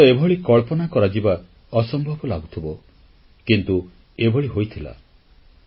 ହୁଏତ ଏଭଳି କଳ୍ପନା କରାଯିବା ଅସମ୍ଭବ ଲାଗୁଥିବ କିନ୍ତୁ ଏଭଳି ହୋଇଥିଲା